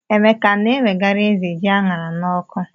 Emeka a na-ewegara ézè ji a ṅara n'ọkụ?